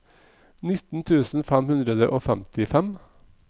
nitten tusen fem hundre og femtifem